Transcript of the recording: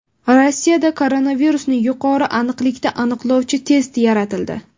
Rossiyada koronavirusni yuqori aniqlikda aniqlovchi test yaratildi.